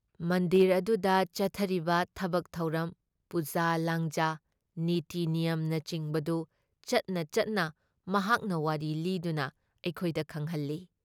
ꯃꯟꯗꯤꯔ ꯑꯗꯨꯨꯗ ꯆꯠꯊꯔꯤꯕ ꯊꯕꯛ ꯊꯧꯔꯝ, ꯄꯨꯖꯥ ꯂꯥꯡꯖꯥ, ꯅꯤꯇꯤ ꯅꯤꯌꯝꯅꯆꯤꯡꯕꯗꯨ ꯆꯠꯅ ꯆꯠꯅ ꯃꯍꯥꯛꯅ ꯋꯥꯔꯤ ꯂꯤꯗꯨꯅ ꯑꯩꯈꯣꯏꯗ ꯈꯪꯍꯜꯂꯤ ꯫